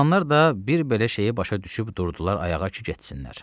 Oturanlar da bir belə şeyi başa düşüb durdular ayağa ki, getsinlər.